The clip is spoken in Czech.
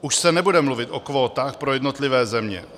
Už se nebude mluvit o kvótách pro jednotlivé země.